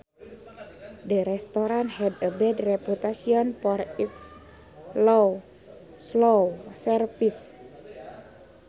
The restaurant had a bad reputation for its slow service